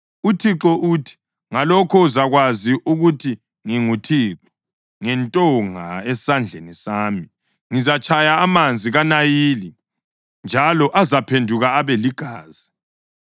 UThixo uthi, Ngalokhu uzakwazi ukuthi nginguThixo: Ngentonga esesandleni sami ngizatshaya amanzi kaNayili njalo azaphenduka abe ligazi.